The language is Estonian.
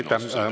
Aitäh!